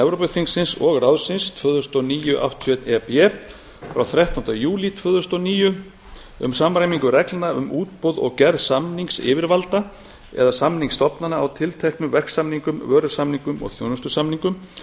evrópuþingsins og ráðsins tvö þúsund og níu áttatíu og eitt e b frá þrettánda júlí tvö þúsund og níu um samræmingu reglna um útboð og gerð samningsyfirvalda eða samningsstofnana á tilteknum verksamningum vörusamningum og þjónustusamningum